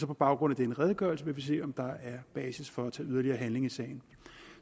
på baggrund af den redegørelse se om der er basis for at tage yderligere handling i sagen